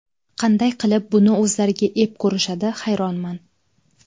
Qanday qilib buni o‘zlariga ep ko‘rishadi, hayronman.